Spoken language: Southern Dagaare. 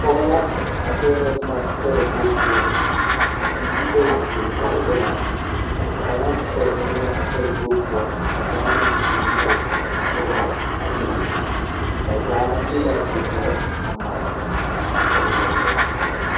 Pɔge la a pɛgrɛ boma talakpoŋ poɔ bibiiri bayi ziŋ kɔŋ o la kaŋa kpɛ ziŋɛɛ a talakpoŋ poɔ ka kaŋa meŋ sɔnnɔ o a pɛgrɛ a boma ba zaa le la wagyɛre a mare a pɔg ba berɛ.